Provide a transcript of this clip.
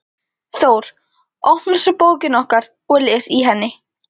Þór, opnar svo bókina okkar og les í henni.